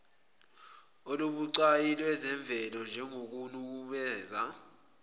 olubucayi lwezemvelo njengokunukubeza